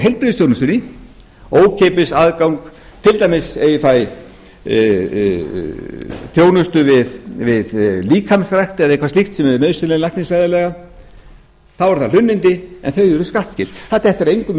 úr heilbrigðisþjónustunni ókeypis aðgang til dæmis ef ég fæ þjónustu við líkamsrækt eða eitthvað slíkt sem er nauðsynleg læknisfræðilega er það hlunnindi en þau eru skattskyld það dettur engum í hug að